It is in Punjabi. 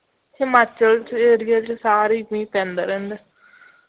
Himachal ਚ area ਚ ਸਾਰੇ ਹੀ ਮੀਂਹ ਪੈਂਦਾ ਰਹਿੰਦਾ ਹੈ